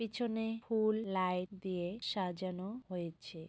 পিছনে ফুল লাইট দিয়ে সাজানো হয়েছে।